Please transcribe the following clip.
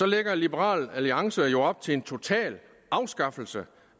lægger liberal alliance jo op til en total afskaffelse